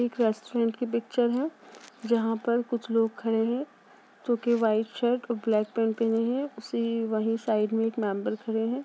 एक रेस्टोरेंट की पिक्चर है जहाँ पर कुछ लोग खड़े हैं जो कि व्हॉइट शर्ट और ब्लैक पेंट पहने हैं उसी वहीं साइड में एक मेंबर खड़े हैं।